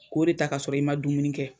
K'o de ta ka sɔrɔ i ma dumuni kɛ.